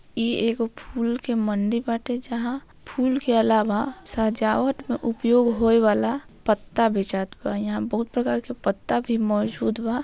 यह एक फूल की मंडी बाटे जहाँ फूल के अलावा सजावट का उपयोग होए वाला पता बेचात बा यहाँ बहुत प्रकार के पत्ता भी मौजूद बा।